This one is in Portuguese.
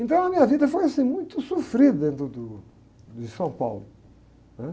Então a minha vida foi assim, muito sofrida do, do, de São Paulo, né?